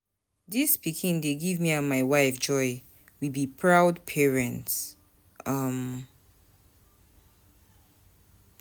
Dis pikin dey give me and my wife joy, we be proud parents. um